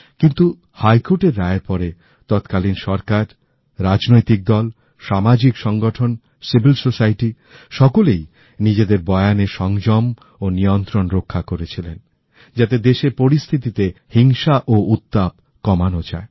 কিন্তু হাইকোর্টের রায়ের পরে তৎকালীন সরকার রাজনৈতিক দল সামাজিক সংগঠন সিভিল সোসাইটি সকলেই নিজেদের বয়ানে সংযম ও নিয়ন্ত্রন রক্ষা করেছিলেন যাতে দেশের পরিস্থিতিতে হিংসা ও উত্তাপ কমানো যায়